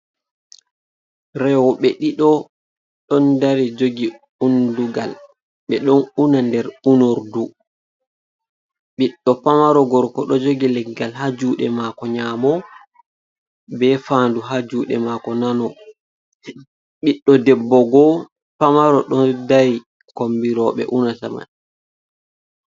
rewobe ɗido, don dari jogi undugal, be don una nder unor du.ɓiɗdo pamaro gorko do jogi leggal ha jude mako nyamo, be fandu ha jude mako nano, ɓiɗdo debbo bo pamaro don dari kombi robe unata man.